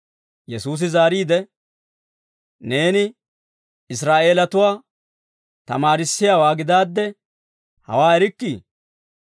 Yesuusi zaariide, «Neeni Israa'eelatuwaa tamaarissiyaawaa gidaadde hawaa erikkii?